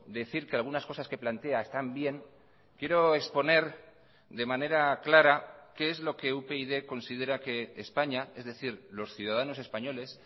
decir que algunas cosas que plantea están bien quiero exponer de manera clara qué es lo que upyd considera que españa es decir los ciudadanos españoles